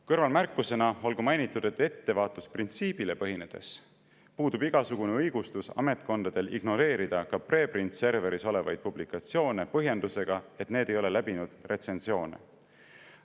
Kõrvalmärkusena olgu mainitud, et ettevaatusprintsiibist tulenevalt puudub ametkondadel igasugune õigustus ignoreerida preprint server'is olevaid publikatsioone põhjendusega, et need ei ole läbinud retsensiooni.